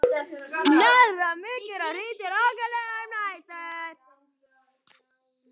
Stefán Páll: Er komin stemning í mannskapinn?